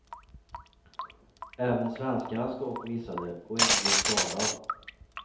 Även svenskarnas skott missade och ingen blev skadad.